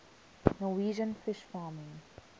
norwegian fish farming